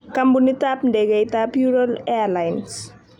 Kampunitab ndegeitab Ural Airlines.